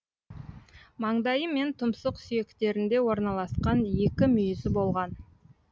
маңдайы мен тұмсық сүйектерінде орналасқан екі мүйізі болған